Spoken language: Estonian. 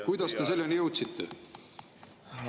Kuidas te selleni jõudsite?